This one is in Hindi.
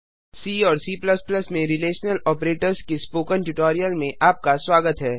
सी और C में रिलेशनल आपरेटर्स के स्पोकन ट्यूटोरियल में आपका स्वागत है